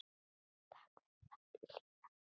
Takk fyrir hlýja hönd.